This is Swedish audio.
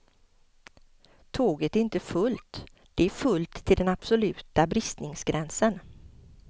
Tåget är inte fullt, det är fullt till den absoluta bristningsgränsen.